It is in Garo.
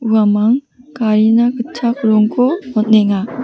uamang garina gitchak rongko on·enga.